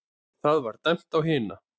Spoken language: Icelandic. Það var dæmt á hina!